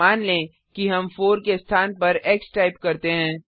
मान लें कि हम 4 के स्थान पर एक्स टाइप करते हैं